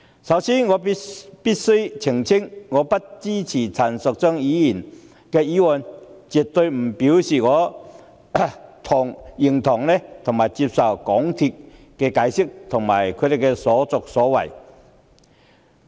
首先，我必須澄清，我不支持陳淑莊議員的議案，絕非表示我認同及接受香港鐵路有限公司的解釋及其所作所為。